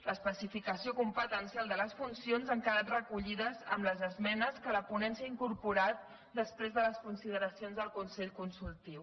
l’especificació competencial de les funcions ha quedat recollida amb les esmenes que la ponència ha incorporat després de les consideracions del consell consultiu